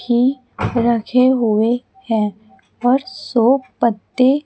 भी रखे हुए हैं और शो पत्ते--